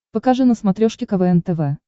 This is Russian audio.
покажи на смотрешке квн тв